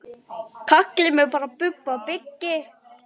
Kallið mig bara Bubba byggi.